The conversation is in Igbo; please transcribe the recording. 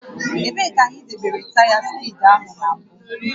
Ebee ka anyị debere taya spee áhụ na mbụ?